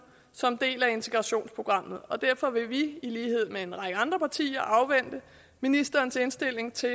som en del af integrationsprogrammet og derfor vil vi i lighed med en række andre partier afvente ministerens indstilling til